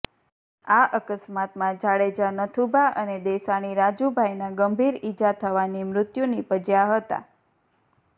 આ અકસ્માતમાં જાડેજા નાથુભા અને દેસાણી રાજુભાઈના ગંભીર ઈજા થવાની મૃત્યુ નિપજ્યા હતા